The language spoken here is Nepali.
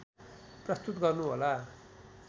प्रस्तुत गर्नु होला